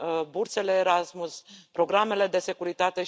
bursele Erasmus, programele de securitate.